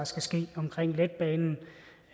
så skal